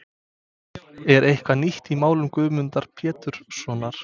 Er eitthvað nýtt í málum Guðmundar Péturssonar?